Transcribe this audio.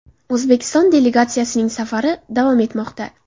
O‘zbekiston delegatsiyasining safari davom etmoqda.